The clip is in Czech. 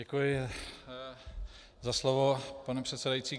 Děkuji za slovo, pane předsedající.